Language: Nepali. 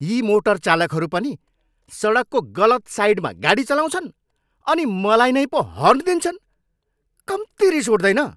यी मोटरचालकहरू पनि, सडकको गलत साइडमा गाडी चलाउँछन् अनि मलाई नै पो हर्न दिन्छन्। कम्ती रिस उठ्दैन!